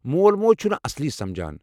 مول موج چُھنہٕ اصلی سمجھان۔